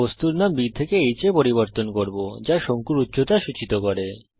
আমি বস্তুর নাম b থেকে h এ পরিবর্তন করব যা শঙ্কুর উচ্চতা সূচিত করে